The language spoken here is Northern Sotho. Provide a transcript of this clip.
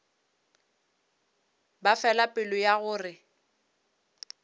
ba fela pelo ya gore